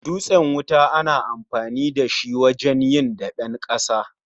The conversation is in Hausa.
Dutsen wuta ana amafni da shi wajen yin daben ƙasa